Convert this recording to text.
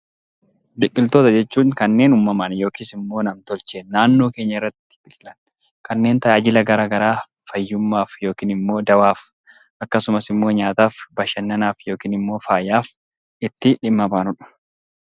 Biqiltoota jechuun kanneen uumamaan yookiis nam-tolcheen naannoo keenya irratti biqilan kanneen tajaajila garaagaraa fayyummaaf yookaan immoo garaaf, akkasumas immoo bashannanaaf akkasumas faayaaf itti dhimma baanudha.